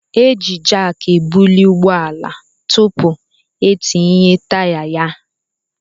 Eji jak ebuli ụgbọala tupu etinye taya na ya.